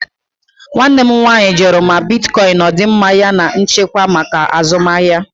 Nwanne m nwanyị jụrụ ma bitkọịn ọ dị mma yana nchekwa maka azụmahịa.